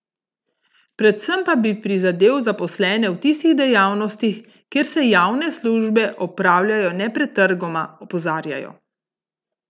Predvsem pa bi prizadel zaposlene v tistih dejavnostih, kjer se javne službe opravljajo nepretrgoma, opozarjajo.